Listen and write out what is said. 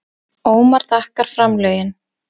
Ómar þakkar framlögin